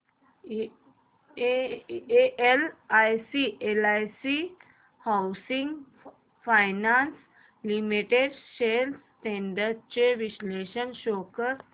LIC housing finance limited shares trends चे विश्लेषण show कर